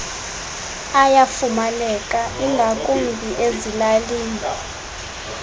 ayafumaneka ingakumbi ezilalini